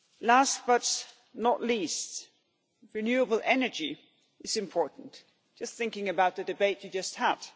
Last but not least, renewable energy is important just thinking about the debate you have just had.